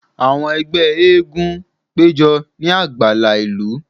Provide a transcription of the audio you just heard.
Awọn ẹgbẹ masquerade pejọ ni agbala ilu,